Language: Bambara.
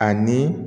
Ani